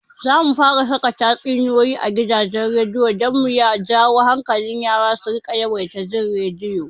Zamu fara saka tatsuniyoyi a gidajen rediyo don mu jawo hankalin yara su riƙa yawaita jin rediyo